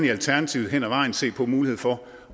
i alternativet hen ad vejen gerne se på muligheden for